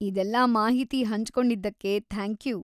ಇದೆಲ್ಲಾ ಮಾಹಿತಿ ಹಂಚ್ಕೊಂಡಿದ್ದಕ್ಕೆ ಥ್ಯಾಂಕ್ಯೂ.